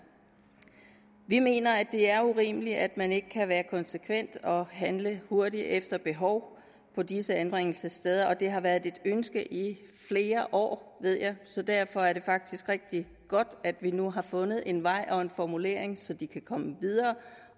vi mener det er urimeligt at man ikke kan være konsekvent og handle hurtigt efter behov på disse anbringelsessteder det har været et ønske i flere år ved jeg så derfor er det faktisk rigtig godt at vi nu har fundet en vej og en formulering så de kan komme videre